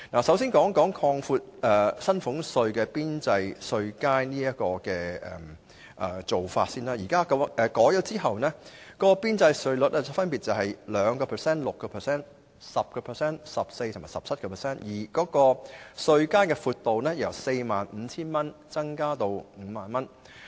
首先，關於擴闊薪俸稅的邊際稅階和調低邊際稅率，經修訂後的邊際稅率分別是 2%、6%、10%、14% 及 17%， 稅階由 45,000 元增加至 50,000 元。